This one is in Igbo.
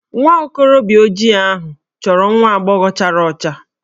Nwa okorobịa ojii ahụ chọrọ nwa agbọghọ chara ọcha